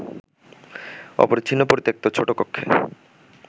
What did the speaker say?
অপরিচ্ছন্ন পরিত্যক্ত ছোট কক্ষে